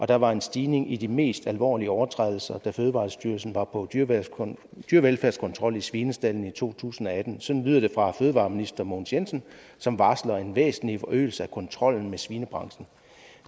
der var en stigning i de mest alvorlige overtrædelser da fødevarestyrelsen var på dyrevelfærdskontrol i svinestaldene i to tusind og atten sådan lyder det fra fødevareminister mogens jensen som varsler en væsentlig forøgelse af kontrollen med svinebranchen